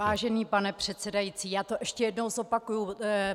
Vážený pane předsedající, já to ještě jednou zopakuji.